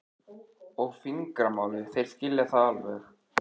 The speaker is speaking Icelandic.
og fingramálið, þeir skilja það alveg.